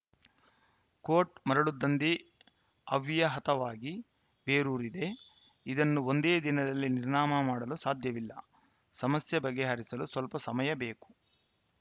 coat ಮರಳು ದಂಧೆ ಅವ್ಯಾಹತವಾಗಿ ಬೇರೂರಿದೆ ಇದನ್ನು ಒಂದೇ ದಿನದಲ್ಲಿ ನಿರ್ನಾಮ ಮಾಡಲು ಸಾಧ್ಯವಿಲ್ಲ ಸಮಸ್ಯೆ ಬಗೆ ಹರಿಸಲು ಸ್ವಲ್ಪ ಸಮಯ ಬೇಕು